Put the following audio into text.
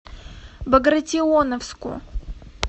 багратионовску